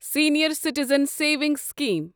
senior citizen savings scheme